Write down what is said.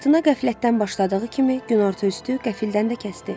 Fırtına qəflətdən başladığı kimi, günorta üstü qəfildən də kəsdi.